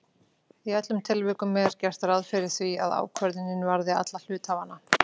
Í öllum tilvikum er gert ráð fyrir því að ákvörðun varði alla hluthafana.